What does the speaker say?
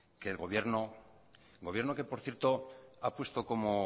que el gobierno gobierno que por cierto ha puesto como